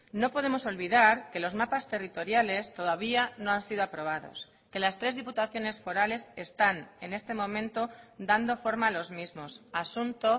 no podemos olvidar que losmapas territoriales todavía no han sido aprobados que las tres diputaciones forales están en este momento dando forma a los mismos asunto